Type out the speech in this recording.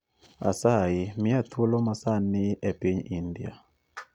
Asayi mia thuolo masani epiny india